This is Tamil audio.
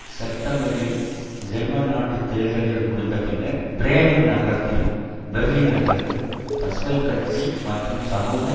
செப்டம்பரில் ஜெர்மன் நாட்டு தேர்தல்கள் முடிந்த பின்னர் பிறேமன் நகரத்திலும் பெர்லின் நகரத்திலும் பசுமை கட்சி மற்றும் சமூக